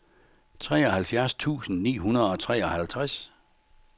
treoghalvfjerds tusind ni hundrede og treoghalvtreds